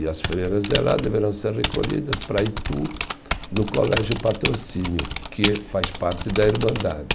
E as freiras de lá deverão ser recolhidas para Itu, no Colégio Patrocínio, que faz parte da Irmandade.